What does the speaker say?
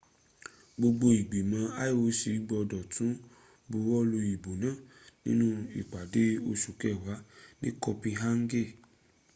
gbogbo ìgbìmọ̀ ioc gbọ́dọ̀ tún buwọ́lu ìbò náà nínú ìpàdé oṣù kẹwàá ní copenhagen